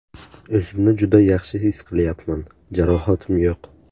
O‘zimni juda yaxshi his qilyapman, jarohatim yo‘q.